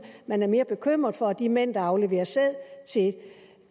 man er mere bekymret for de mænd der afleverer sæd